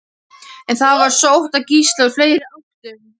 En það var sótt að Gísla úr fleiri áttum.